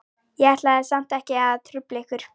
Ég ætlaði samt ekki að trufla ykkur.